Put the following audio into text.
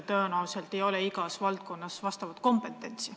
Tõenäoliselt ei ole igas valdkonnas seda kompetentsi.